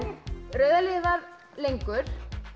rauða liðið var lengur